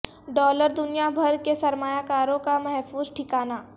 dollar دنیا بھر کے سرمایہ کاروں کا محفوظ ٹھکانہ